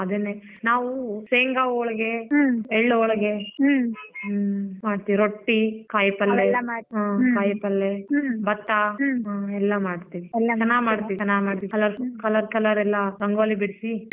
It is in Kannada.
ಅದನ್ನೇ ನಾವು ಶೇಂಗಾ ಹೋಳಿಗೆ ಎಳ್ ಹೋಳಿಗೆ ಹ್ಮ್ ಮಾಡ್ತೀವಿ ರೊಟ್ಟಿ, ಕಾಯಿ ಪಲ್ಯ ಕಾಯಿ ಪಲ್ಯ ಭತ್ತ ಎಲ್ಲ ಮಾಡ್ತೀವಿ ಚೆನ್ನಾಗ ಮಾಡ್ತೀವಿ colour colour ರೆಲ್ಲ ರಂಗೋಲಿ ಬಿಡ್ಸಿ.